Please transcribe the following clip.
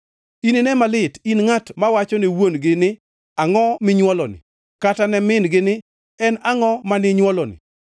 Inine malit in ngʼat mawachone wuon-gi ni, ‘Angʼo minywoloni?’ Kata ne min-gi ni, ‘En angʼo maninywoloni?’